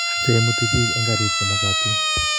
cheimuti biik eng karit chemagatin